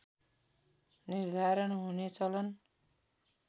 निर्धारण हुने चलन